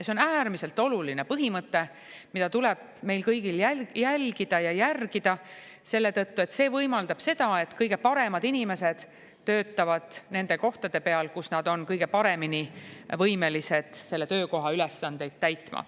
See on äärmiselt oluline põhimõte, mida tuleb meil kõigil jälgida ja järgida selle tõttu, et see võimaldab seda, et kõige paremad inimesed töötavad nende kohtade peal, kus nad on kõige paremini võimelised selle töökoha ülesandeid täitma.